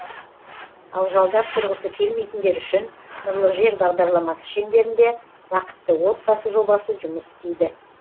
ал жалдап тұрғысы келмейтіндер үшін нұрлы жер бағдарламасы шеңберінде бақытты отбасы жобасы жұмыс істейді